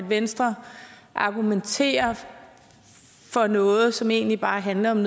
venstre argumenterer for noget som egentlig bare handler om